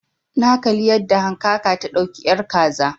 Na kalli yadda hankaka ta dauki ƴar kaza